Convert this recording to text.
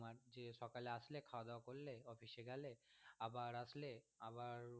সকালে আসলে খাওয়া দাওয়া করলে office এ গেলে আবার আসলে আবার খাওয়া দাওয়া করলে ঘুমিয়ে গেলে এ রকমই এখন জীবন।